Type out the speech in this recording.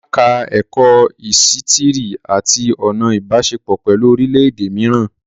Olá ka ẹ̀kọ́ ísítìrì àti ọ̀nà Ìbáṣepọ̀ pẹ̀lú orílẹ̀ èdè mìíràn